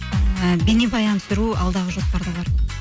ііі бейнебаян түсіру алдағы жоспарда бар